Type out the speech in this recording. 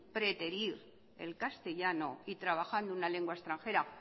preterir el castellano y trabajar una lengua extranjera